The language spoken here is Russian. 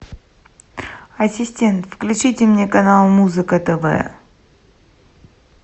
ассистент включите мне канал музыка тв